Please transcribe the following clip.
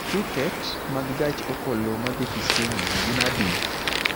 tiket mag gach okoloma dhi kisumu gin adi